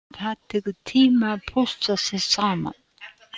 Það tekur tíma að pússa sig saman.